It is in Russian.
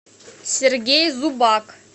сергей зубак